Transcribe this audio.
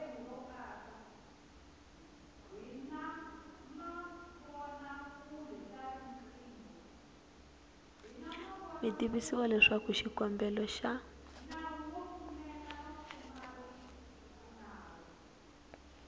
mi tivisiwa leswaku xikombelo xa